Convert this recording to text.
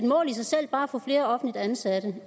mål i sig selv bare at få flere offentligt ansatte